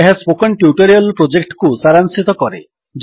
ଏହା spoken tutorial ପ୍ରୋଜେକ୍ଟକୁ ସାରାଂଶିତ କରେ